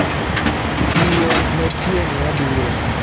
Tiyo ne tieng' mabiro.